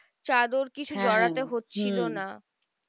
চাদর কিছু জড়াতে হচ্ছিলো না।